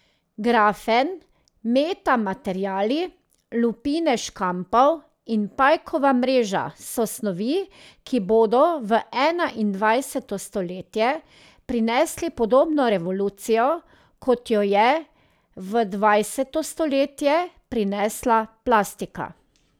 Grafen, metamateriali, lupine škampov in pajkova mreža so snovi, ki bodo v enaindvajseto stoletje prinesli podobno revolucijo, kot jo je v dvajseto stoletje prinesla plastika.